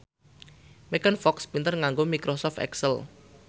Megan Fox pinter nganggo microsoft excel